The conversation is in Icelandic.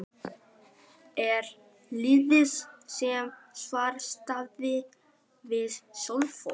Er liðið í samstarfi við Selfoss?